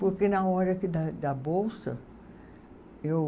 Porque na hora que da da bolsa, eu.